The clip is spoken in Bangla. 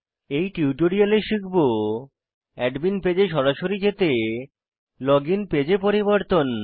এই টিউটোরিয়ালে শিখব অ্যাডমিন পেজে সরাসরি যেতে লগইন পেজে পরিবর্তন